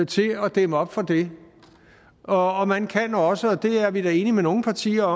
til at dæmme op for det og og man kan også og det er vi da enige med nogle partier